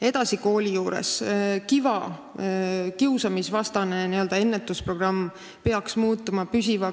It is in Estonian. Edasi, KiVa ehk kiusamisvastane ennetusprogramm peaks muutuma püsivaks.